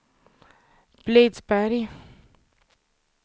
Blidsberg